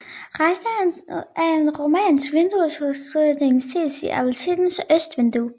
Rester af en romansk vinduesudsmykning ses i apsidens østvindue